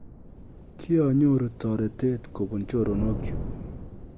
Kianyoruu toreteet kobun chorok chuuk